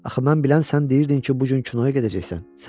Axı mən bilən sən deyirdin ki, bu gün kinoya gedəcəksən.